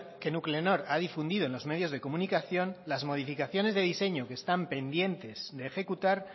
que nuclenor ha difundido en los medios de comunicación las modificaciones de diseño que están pendiente de ejecutar